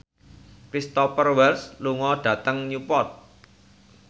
Cristhoper Waltz lunga dhateng Newport